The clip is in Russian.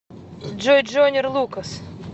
джой джойнер лукас